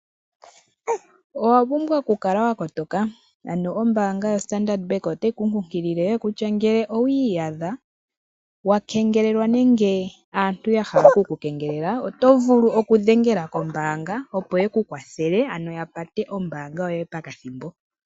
Owa pumbwa okukala wa kotoka. Ombaanga yoStandard Bank otayi ku kunkilile kutya ngele owi iyadha wa kengelelwa nenge aantu ya hala oku ku kengelela oto vulu okudhengela kombaanga, opo ye ku kwathele ano ya pate ombaanga yoye pakathimbo.